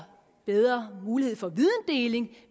bedre mulighed for videndeling